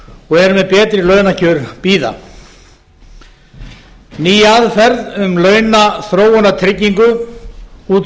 og eru með betri launakjör bíða ný aðferð um launaþróunartryggingu út